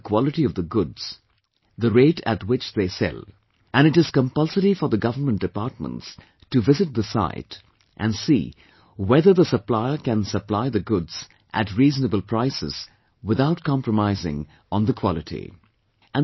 They can mention the quality of the goods, the rate at which they sell, and it is compulsory for the government departments to visit the site and see whether the supplier can supply the goods at reasonable prices without compromising on the quality